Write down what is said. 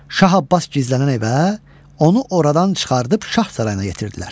Şah Abbas gizlənən evə, onu oradan çıxardıb şah sarayına yetirdilər.